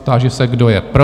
Táži se, kdo je pro?